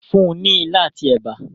fún ní ila ati èbá.